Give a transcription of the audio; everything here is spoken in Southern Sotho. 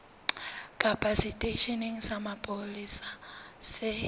kapa seteisheneng sa mapolesa se